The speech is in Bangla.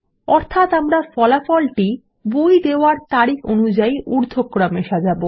অর্থাত আমরা ফলাফলটি বই দেওয়ার তারিখ অনুযায়ী ঊর্ধক্রমে সাজাব